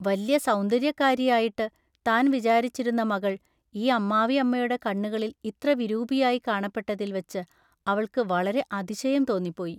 വല്യ സൌന്ദൎയ്യക്കാരിയായിട്ടു താൻ വിചാരിച്ചിരുന്ന മകൾ ഈ അമ്മാവിയമ്മയുടെ കണ്ണുകളിൽ ഇത്ര വിരൂപിയായി കാണപ്പെട്ടതിൽ വച്ചു അവൾക്കു വളരെ അതിശയം തോന്നിപ്പോയി.